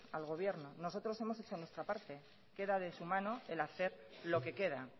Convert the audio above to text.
al gobierno nosotros hemos hecho nuestra parte queda de su mano el hacer lo que queda